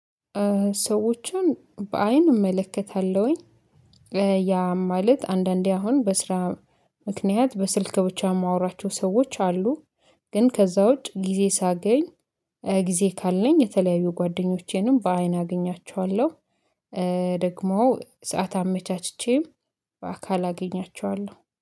ሰዎችን በአይን እመለከታለሁኝ። ያም ማለት አንዳንዴ አሁን በስራ ምክንያት በስልክ ብቻ የማወራቸው ሰዎች አሉ። ግን ከዛ ውጭ ጊዜ ሳገኝ ጊዜ ካለኝ የተለያዩ ጓደኞቼንም በአይን አገኛቸዋለሁ። ደግሞ ሰዓት አመቻችቼም በአካል አገኛቸዋለሁ